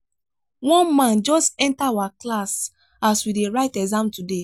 one man just enter our class as we dey write exam today.